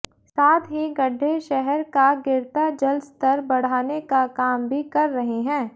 साथ ही गड्ढे शहर का गिरता जल स्तर बढ़ाने का काम भी कर रहे हैं